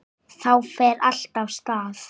Þá fer allt af stað.